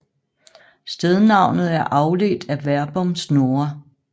Stednavnet er afledt af verbum snurre